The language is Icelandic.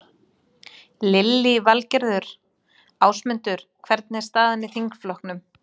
Lillý Valgerður: Ásmundur, hvernig er staðan í þingflokknum?